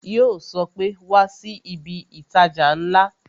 Yo sọ pé "Wá sí ibi itaja ńlá"